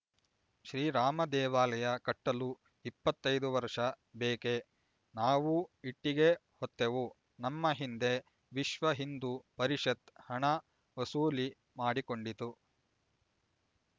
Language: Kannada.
ಶ್ರೀರಾಮದೇವಾಲಯ ಕಟ್ಟಲು ಇಪ್ಪತೈದು ವರ್ಷ ಬೇಕೆ ನಾವೂ ಇಟ್ಟಿಗೆ ಹೊತ್ತೆವು ನಮ್ಮ ಹಿಂದೆ ವಿಶ್ವ ಹಿಂದೂ ಪರಿಷತ್ ಹಣ ವಸೂಲಿ ಮಾಡಿಕೊಂಡಿತು